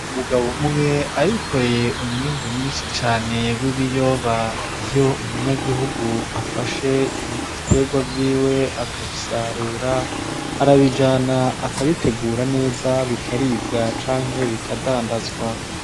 Umugabo umwe arikoreye umwimbu mwinshi cane w' ibiyoba, iyo umunyagihugu afashe ibitegwa vyiwe akabisarura arabijana akabitegura neza bikaribwa canke bikadandazwa.